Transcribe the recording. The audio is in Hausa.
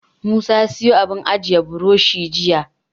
Musa ya siyo sabon abun ajiye burushi jiya.